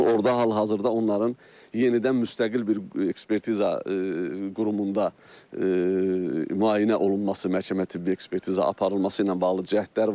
Orda hal-hazırda onların yenidən müstəqil bir ekspertiza qurumunda müayinə olunması, məhkəmə tibbi ekspertiza aparılması ilə bağlı cəhdlər var.